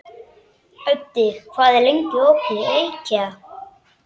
Öddi, hvað er lengi opið í IKEA?